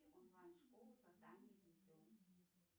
онлайн школа создания видео